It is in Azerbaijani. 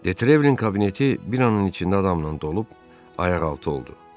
Detrevelin kabineti bir anın içində adamla dolub ayaqaltı oldu.